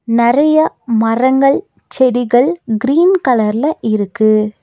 நறைய மரங்கள் செடிகள் கிரீன் கலர்ல இருக்கு.